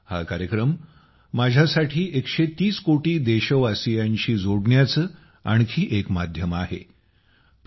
हा कार्यक्रम माझ्यासाठी 130 कोटी देशवासीयांशी संवाद साधण्याचे आणखी एक माध्यम आहे